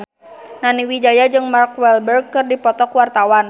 Nani Wijaya jeung Mark Walberg keur dipoto ku wartawan